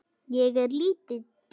Ég er lítil.